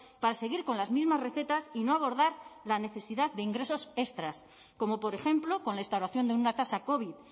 para seguir con las mismas recetas y no abordar la necesidad de ingresos extras como por ejemplo con la instauración de una tasa covid